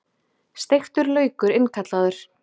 Steiktur laukur innkallaður